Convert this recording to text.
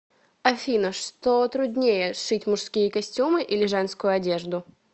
афина что труднее шить мужские костюмы или женскую одежду